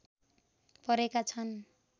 परेका छन्